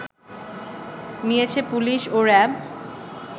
নিয়েছে পুলিশ ও র‍্যাব